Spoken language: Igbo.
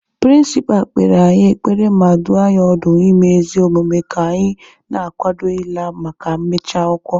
Pịrịnsịpa kpere anyị ekpere ma dụọ anyị ọdụ ime ezi omume ka anyị na-akwado ịla maka mmechi akwụkwọ